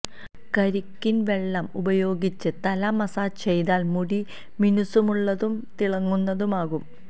കരിക്കിൻ വെള്ളം ഉപയോഗിച്ച് തല മസാജ് ചെയ്താൽ മുടി മിനുസമുള്ളതും തിളങ്ങുന്നതുമാകും